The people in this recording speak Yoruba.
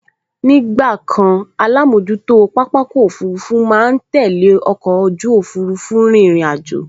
Ní ìgbàkan alámojútó pápákọ̀ òfurufú máa n tẹ́lẹ̀ ọkọ̀ ojú òfurufú rírìn àjò